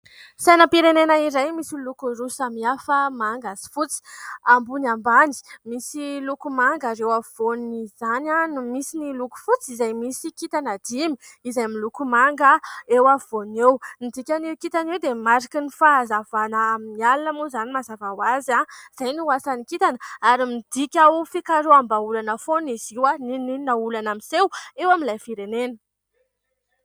sainampirenena iray misy oloko iro samiafa manga zy fotsy ambony ambany misy lokomanga ry eo afyvoany izany aho no misy ny loko fotsy izay misy kitana dimy izay milokomanga eo afyvoan' eo nidika n'eo kintana eo dia mariky ny fahazavana amin'ny alina moa izany mazavao azy aho izay no h asany kitana ary midika ho fikaro amba olana foa ny zioa nininona olana amiseho eo amin'ilay firenena